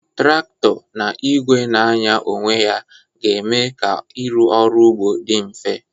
Traktọ na igwe na-anya onwe ya ga eme ka irụ ọrụ ugbo di mfe.